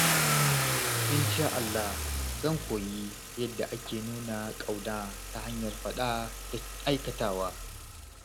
Insha Allah, zan koyi yadda ake nuna ƙauna ta hanyar faɗa da aikatawa.